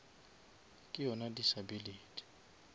ke yona disability